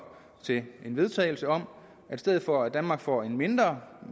til en vedtagelse om at i stedet for at danmark får en mindre